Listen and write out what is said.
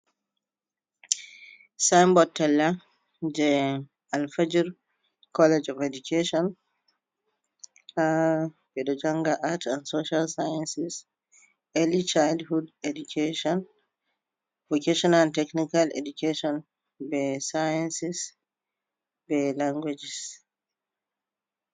Sign bot talla je alfijir college of education ha ɓeɗo janga art and social sciences, early childhood education vacation and technical education be sciences be languajes.